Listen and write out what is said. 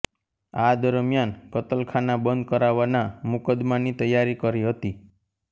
આ દરમિયાન કતલખાના બંધ કરાવાના મુકદ્દમાની તૈયારી કરી હતી